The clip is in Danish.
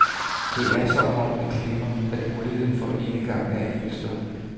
Det er som om man glemmer, at muligheden for enegang er enestående.